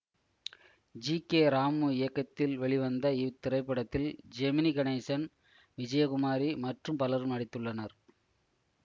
GK Ramu இயக்கத்தில் வெளிவந்த இத்திரைப்படத்தில் ஜெமினி கணேசன் விஜயகுமாரி மற்றும் பலரும் நடித்துள்ளனர்